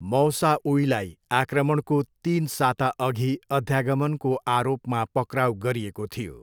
मौसाउईलाई आक्रमणको तिन साताअघि अध्यागमनको आरोपमा पक्राउ गरिएको थियो।